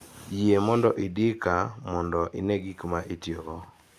Yie mondo idi kaa mondo ine gik ma itiyogo.